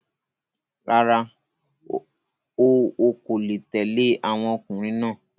Rárá, o ọkò le tẹ̀le àwọn ọkùnrin náà.